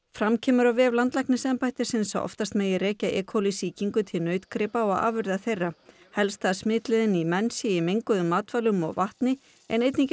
fram kemur á vef landlæknisembættisins að oftast megi rekja e coli sýkingu til nautgripa og afurða þeirra helsta smitleiðin í menn sé með menguðum matvælum og vatni en einnig